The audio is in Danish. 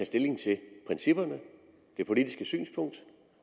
stilling til principperne det politiske synspunkt